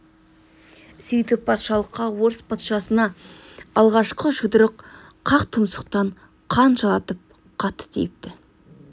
сөйтіп патшалыққа орыс патшасына алғашқы жұдырық қақ тұмсықтан қан жалатып қатты тиіпті